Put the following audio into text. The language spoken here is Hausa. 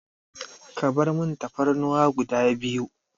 Ka barmun Tafarnuwa guda biyu.